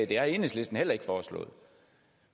det har enhedslisten heller ikke foreslået